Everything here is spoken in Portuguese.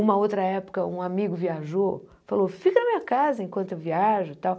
Uma outra época, um amigo viajou, falou, fica na minha casa enquanto eu viajo e tal.